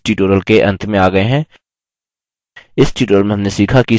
इसी के साथ हम libreoffice draw पर इस tutorial के अंत में आ गये हैं